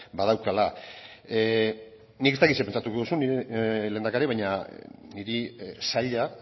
badaukala nik ez dakit zer pentsatuko duzun lehendakari baina niri zaila